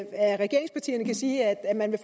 regeringspartierne kan sige at man